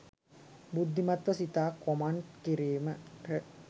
බුද්ධිමත්ව සිතා කොමන්ත් කිරීමට